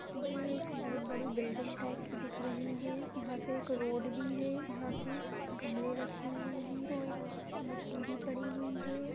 एक बोहोत बड़ी बिल्डिंग टाइप की दिख रही है यहाँ पे एक रोड भी है यहाँ पे गमले रखें हुए है और यहाँ मिट्टी भी पड़ी हुई है।